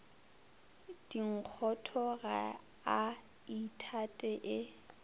dinkgotho ga a ithate e